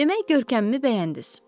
Demək görkəmimi bəyəndiz.